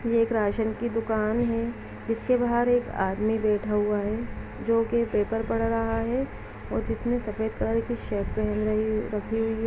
यह एक राशन की दुकान है जिसके बाहर एक आदमी बैठा हुआ है जोकि पेपर पढ़ रहा है और जिसने सफेद कलर की शर्ट पहन रही रखी हुई हैं।